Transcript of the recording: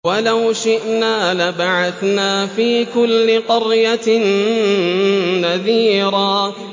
وَلَوْ شِئْنَا لَبَعَثْنَا فِي كُلِّ قَرْيَةٍ نَّذِيرًا